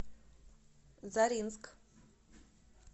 заринск